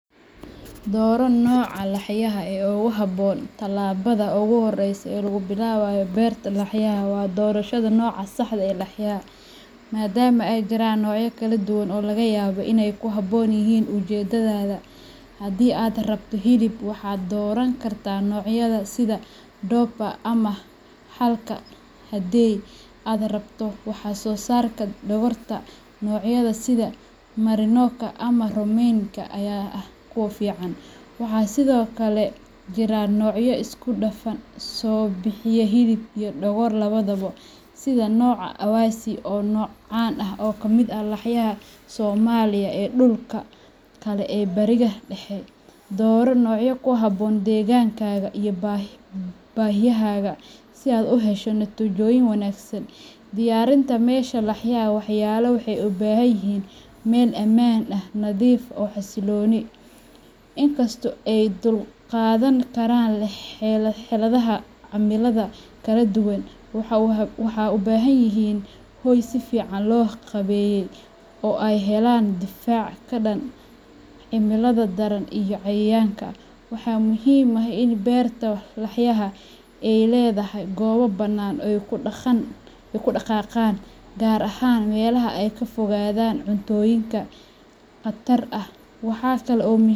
Dooro nooca laxyaha ee ugu habboon talaabada ugu horreysa ee lagu bilaabayo beerta laxyaha waa doorashada nooca saxda ah ee laxyaha, maadaama ay jiraan noocyo kala duwan oo laga yaabo inay ku habboon yihiin ujeedadaada. Haddii aad u rabto hilib, waxaad dooran kartaa noocyada sida Dorper ama , halka haddii aad rabto wax soo saarka dhogorta, noocyada sida Merinoka ama Romneyga ayaa ah kuwo fiican. Waxaa sidoo kale jira noocyo isku-dhafan oo bixiya hilib iyo dhogor labadaba, sida nooca Awassi, oo ah nooc caan ah oo ka mid ah laxyaha Soomaaliya iyo dhulalka kale ee bariga Dhexe. Dooro nooca ku habboon deegaankaaga iyo baahiyahaaga si aad u hesho natiijooyin wanaagsan. Diyaarinta Meesha Laxyaha Laxyaha waxay u baahan yihiin meel ammaan ah, nadiif ah, oo xasiloon. Inkastoo ay u dulqaadan karaan xaaladaha cimilada kala duwan, waxay u baahan yihiin hoy si fiican loo qaabeeyey oo ay ka helaan difaac ka dhan ah cimilada daran iyo cayayaanka. Waxa muhiim ah in beerta laxyaha ay leedahay goobo bannaan oo ay ku dhaqaaqaan, gaar ahaan meelaha ay ka fogaadaan cuntooyin khatar ah waxa kale oo muhiim ah.